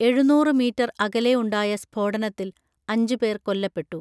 എഴുന്നൂറ് മീറ്റർ അകലെ ഉണ്ടായ സ്ഫോടനത്തിൽ അഞ്ചുപേർ കൊല്ലപ്പെട്ടു